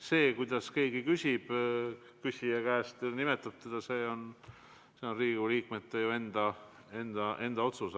See, kuidas keegi küsija temalt küsib või teda nimetab, on Riigikogu liikme enda otsus.